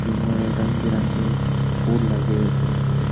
इनमे रंग बिरंगे फुल लगे उ-रु --